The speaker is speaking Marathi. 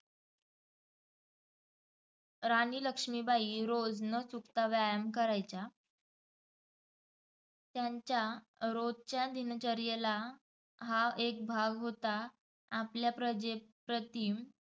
राणी लक्ष्मीबाई रोज न चुकता व्यायाम करायच्या. त्यांच्या रोजच्या दिनचर्येला हा एक भाग होता. आपल्या प्रजेप्रति